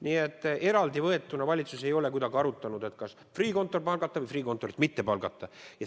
Nii et eraldi võetuna valitsus ei ole kuidagi arutanud, kas Freeh' kontor palgata või Freeh' kontorit mitte palgata.